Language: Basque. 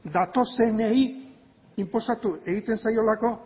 datozenei inposatu egiten zaiolako